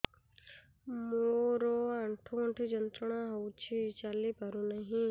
ମୋରୋ ଆଣ୍ଠୁଗଣ୍ଠି ଯନ୍ତ୍ରଣା ହଉଚି ଚାଲିପାରୁନାହିଁ